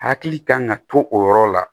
Hakili kan ka to o yɔrɔ la